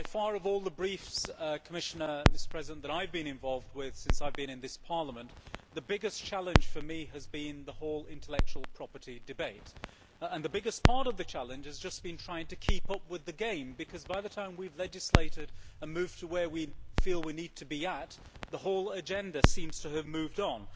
Of all the briefs that I have been involved with since I have been in this Parliament, by far the biggest challenge for me has been the whole intellectual property debate, and the biggest part of the challenge has been trying to keep up with the game, because by the time we have legislated and moved to where we feel we need to be at, the whole agenda seems to have moved on.